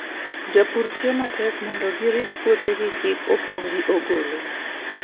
Jopur tiyo matek mondo gi rit puothegi kik opong' gi ogolo.